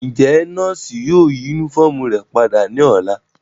Njẹ nọọsi yóò yi unifọmú náa rẹ pada ni ọla?